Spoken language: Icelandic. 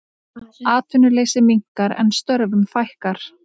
Atvinnuleysi minnkar en störfum fækkar